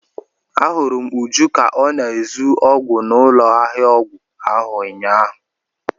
A hụrụ m Uju ka ọ na-ezu ọgwụ n'ụlọ ahịa ọgwụ ahụ ụnyahụ.